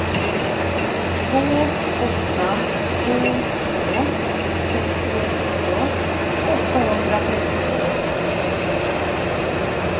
två åtta två två sextionio åttahundratrettiotvå